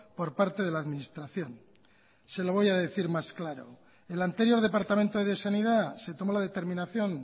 por parte de la administración se lo voy a decir más claro el anterior departamento de sanidad se tomó la determinación